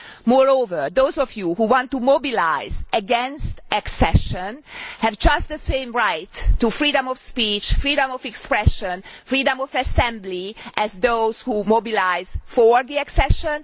Moreover, those of you who want to mobilise against accession have just the same right to freedom of speech, freedom of expression, and freedom of assembly as those who mobilise for the accession.